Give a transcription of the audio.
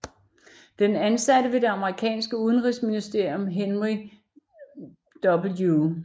Den ansatte ved det amerikanske udenrigsministerium Henry W